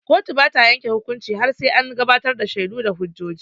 Kotu bata yanke hukunci har sai an gabatar da shaidu da hujjoji.